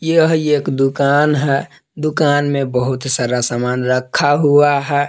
यह एक दुकान है दुकान में बहुत सारा सामान रखा हुआ है।